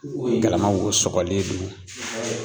Galama wo sɔgɔlen don.